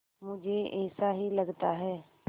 मुझे ऐसा ही लगता है